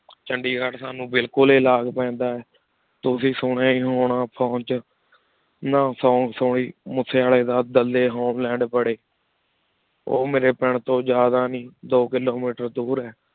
ਚੰਡੀਗੜ੍ਹ ਸਾਨੂ ਬਿਲਕੁਲ ਹੇ ਲਾਗ ਪੀਂਦਾ ਆਯ ਤੁਸੀਂ ਸੁਨਿਯਾ ਹੇ ਹੋਣਾ phone ਵਿਚ ਨਾ ਸੋੰਗ ਸੁਨ ਸੁਨ੍ਲੀ ਮੋਸੀ ਵਾਲਾ ਦਾ ਡਾਲੀ ਹੋਲ੍ਲੈੰਡ ਬਰੀ ਓਹ ਮੇਰੇ ਪਿੰਡ ਤੋ ਜ਼ਿਯਾਦਾ ਨਹੀ ਦੋ ਕਿਲੋਮੀਟਰ ਦੂਰ ਹੈ